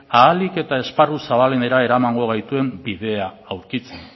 ahalik eta esparru zabalenera eramango gaituen bidea aurkitzen